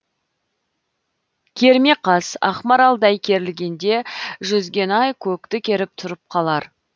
керме қас ақмаралдай керілгенде жүзген ай көкті керіп тұрып қалар